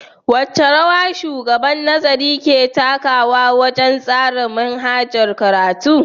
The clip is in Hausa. Wace rawa Shugaban Nazari ke takawa wajen tsara manhajar karatu.